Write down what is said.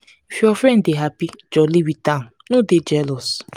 if your friend dey happy jolly with am no dey jealous.